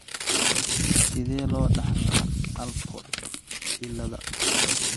Sidee loo dhaxlaa Alport cilada?